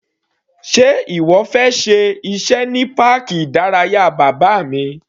Sé ìwọ fẹ́ ṣe iṣẹ́ ní páàkì ìdárayá bàbá mi?